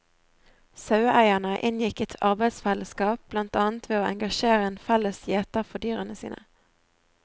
Saueeierne inngikk et arbeidsfellesskap, blant annet ved å engasjere en felles gjeter for dyrene sine.